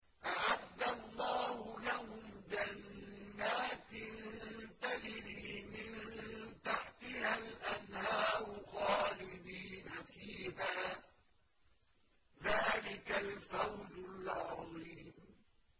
أَعَدَّ اللَّهُ لَهُمْ جَنَّاتٍ تَجْرِي مِن تَحْتِهَا الْأَنْهَارُ خَالِدِينَ فِيهَا ۚ ذَٰلِكَ الْفَوْزُ الْعَظِيمُ